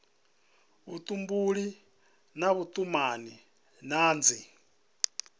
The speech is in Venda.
vhutumbuli na vhutumanyi na dzi